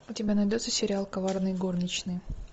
у тебя найдется сериал коварные горничные